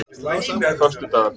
föstudagarnir